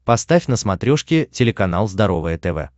поставь на смотрешке телеканал здоровое тв